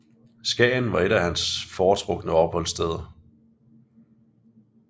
Skagen var et andet af hans foretrukne opholdssteder